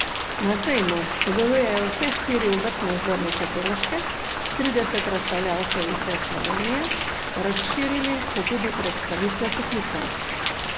Na sejmu sodelujejo vse štiri obrtne zbornice Koroške, trideset razstavljavcev iz vse Slovenije, razširili so tudi predstavitve poklicev.